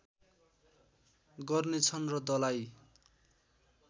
गर्नेछन् र दलाइ